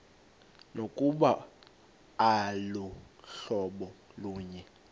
nokuba aluhlobo lunye